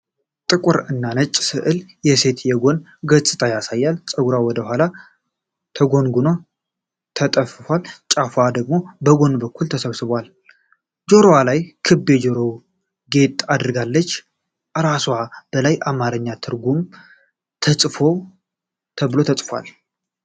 ጥቁር እና ነጭ ስዕል፣ የሴት የጎን ገጽታ ያሳያል። ጸጉሯ ወደ ኋላ ተጎንጉኖና ተጠፍሮ፣ ጫፉ ደግሞ በጎን በኩል ተሰብስቧል። ጆሮዋ ላይ ክብ የጆሮ ጌጥ አድርጋለች። ከራስጌዋ በላይ በአማርኛ "ት-ርጉ" ተብሎ ተጽፏል።